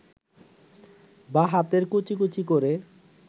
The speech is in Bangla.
বাঁ হাতে কুচি কুচি করে